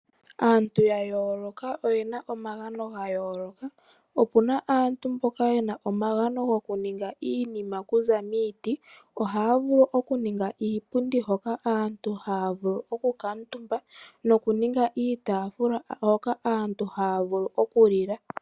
Aantu yayooloka oyena omagano gayooloka. Opuna aantu mboka yena omagano gokuninga iinima okuza miiti. Ohaya vulu okuninga iipundi hoka aantu haya vulu okukaantumba noku ninga iitafula hoka aantu haya vulu okuli la.